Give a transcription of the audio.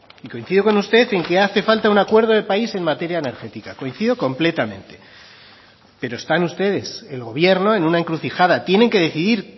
y coincido con usted en que hace falta un acuerdo de país en materia energética coincido completamente pero están ustedes el gobierno en una encrucijada tienen que decidir